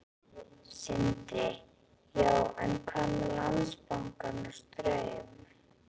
Sindri: Já, en hvað með Landsbankann og Straum?